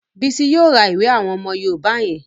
Bísí yóò ra ìwé àwọn òwe yoòbá yẹn